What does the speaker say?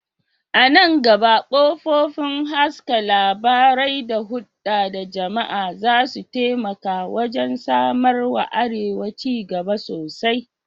A nan gaba, kafofin haska labarai da hulɗa da jama'a za su taimaka wajen samar wa arewa ci gaba sosai.